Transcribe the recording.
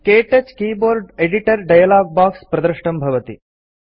क्तौच keyboard editor dialog box प्रदृष्टं भवति